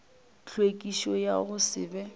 tlhwekišo ya go se be